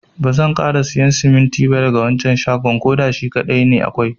Bazan kara siyan siminti ba daga wancan shagon. koda shi kadai ne akwai.